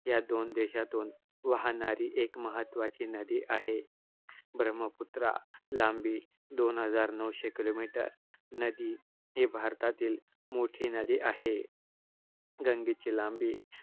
या दोन देशातून वाहणारी एक महत्त्वाची नदी आहे. ब्रह्मपुत्रा लांबी दोन हजार नऊशे kilomere, नदी हि भारतातील मोठी नदी आहे. गंगेची लांबी